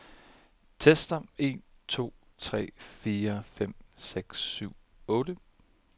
Tester en to tre fire fem seks syv otte.